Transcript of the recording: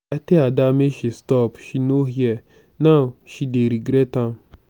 i tell ada make she stop she no hear now she dey regret am